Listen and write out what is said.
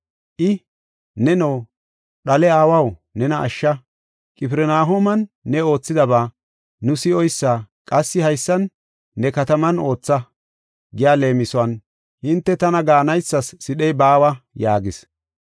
I, “ ‘Neno dhale aawaw nena ashsha, Qifirnahooman ne oothidaba nu si7oysa qassi haysan ne kataman ootha’ giya leemisuwan hinte tana gaanaysas sidhey baawa” yaagis.